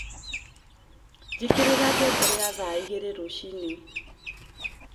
njĩkĩrĩra ngengere ya thaaĩgĩrĩ rũcĩĩnĩ